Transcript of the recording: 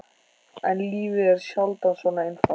En lífið er sjaldan svona einfalt.